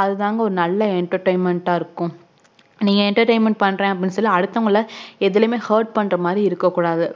அதுதாங்க ஒரு நல்ல entertainment ஆஹ் இருக்கும் நீங்க entertainment பண்றேன்னுஅப்புடின்னு சொல்லி அடுத்தவங்கள அதுலையுமே hurt பண்றமாதிரி இறுக்ககூடது